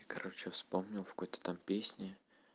короче вспомнил в какой-то там песни